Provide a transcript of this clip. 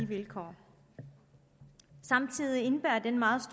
vilkår samtidig indebærer denne meget